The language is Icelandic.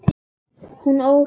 Hún óhrein.